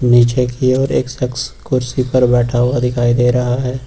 नीचे की ओर एक शख़्स कुर्सी पर बैठा हुआ दिखाई दे रहा है।